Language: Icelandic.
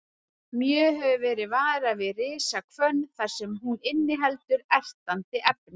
Mjög hefur verið varað við risahvönn þar sem hún inniheldur ertandi efni.